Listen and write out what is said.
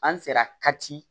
An sera ka ci